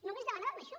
només demanàvem això